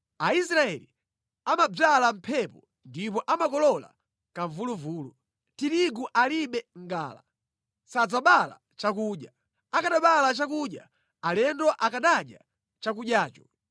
“Aisraeli amadzala mphepo ndipo amakolola kamvuluvulu. Tirigu alibe ngala; sadzabala chakudya. Akanabala chakudya alendo akanadya chakudyacho.